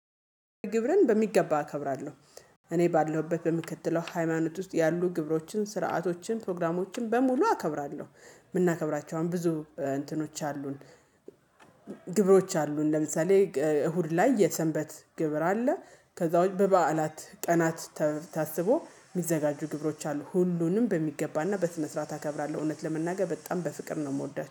ግብርን በሚገባ አከብራለሁ። እኔ ባለሁበት በምከትለው ሃይማኖት ውስጥ ያሉ ግብሮችን ስርዓቶችን ፕሮግራሞችን በሙሉ አከብራለሁ። የምናከብራቸውን ብዙ እንትኖች አሉን። ግብሮች አሉን ለምሳሌ እሁድ ላይ የሰንበት ግብር አለ። ከዛ ውጭ በበዓላት ቀናት ታስቦ የሚዘጋጁ ግብሮች አሉ። ሁሉንም በሚገባና በስነ ስርዓት አከብራለሁ እውነት ለመናገር በጣም በፍቅር ነው የምወዳቸው